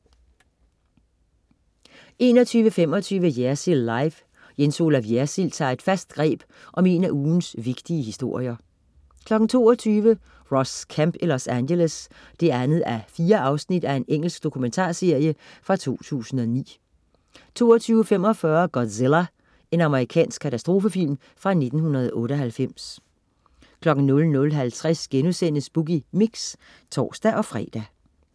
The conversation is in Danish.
21.25 Jersild Live. Jens Olaf Jersild tager et fast greb om en af ugens vigtige historier 22.00 Ross Kemp i Los Angeles 2:4 Engelsk dokumentarserie fra 2009 22.45 Godzilla. Amerikansk katastrofefilm fra 1998 00.50 Boogie Mix* (tors-fre)